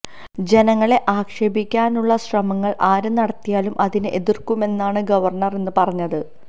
ജനങ്ങളെ ആക്ഷേപിക്കാനുള്ള ശ്രമങ്ങള് ആര് നടത്തിയാലും അതിനെ എതിര്ക്കുമെന്നാണ് ഗവര്ണര് ഇന്ന് പറഞ്ഞത്